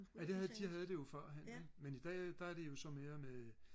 ja det havde de havde jo det førhen ikke men i dag der er det jo så mere med øh